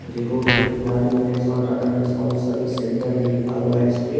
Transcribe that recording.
ये रोड के किनारे Nexon Tata Nexon service centre है लिखा हुआ है इसपे।